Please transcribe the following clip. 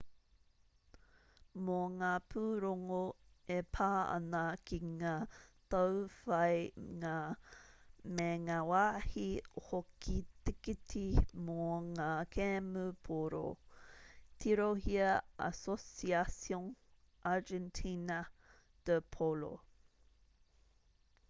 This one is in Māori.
mō ngā pūrongo e pā ana ki ngā tauwhāinga me ngā wāhi hoko tikiti mō ngā kēmu pōro tirohia asociacion argentina de polo